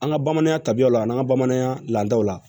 An ka bamananya tabiyaw la an ka bamananya laadaw la